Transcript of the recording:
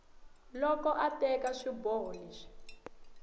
loko a teka swiboho leswi